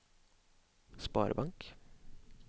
sparebank